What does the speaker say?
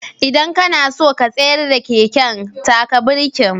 Idan ka na so ka tsayar da keken, taka birkin.